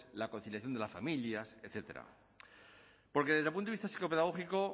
la conciliación de la familias etcétera porque desde el punto de vista psicopedagógico